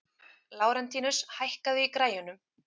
Lárentíus, hækkaðu í græjunum.